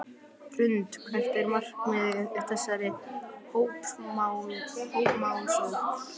Hrund: Hvert er markmiðið með þessari hópmálsókn?